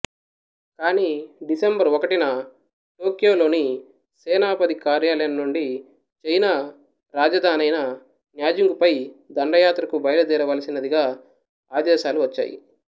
కాని డిసెంబరు ఒకటిన టోక్యోలోని సేనాధిపతి కార్యాలయం నుండి నాటి చైనా రాజధానైన న్యాంజింగుపై దండయాత్రకు బైలుదేరవలసినదిగాఆదేశాలు వచ్చాయి